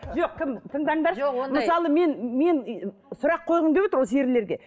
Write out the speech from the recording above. жоқ кім тыңдаңдаршы мысалы мен мен сұрақ қойғым келіп отыр осы ерлерге